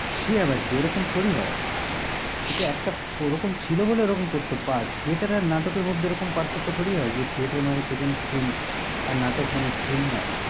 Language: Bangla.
সে আবার কি ও রকম থরি হয়? এটা একটা ওরকম ছিল বলে ওরকম করত theater আর নাটকের মধ্যে ওরকম পার্থক্য থরি হয় যে theater মানে পেছনে screen । আর নাটক মানে screen নয়?